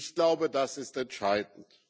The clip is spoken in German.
Ich glaube, das ist entscheidend.